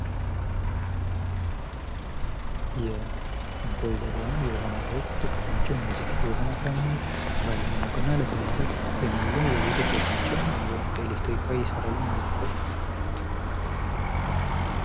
ቦይለሮች ወይም የውሃ ማፊያዎች እነዚህ የምንጠቀማቸው የውሃ ማፍያዎች ውሃ ለማሞቅና ለማፍላት የሚውሉ የቤት እቃዎች ናቸው እና በኤሌክትሪክ ኃይል ይሠራሉ እነዚህ እቃዎች።